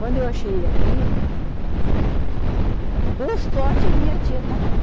Quando eu achei ele aqui, por sorte a minha tia estava lá.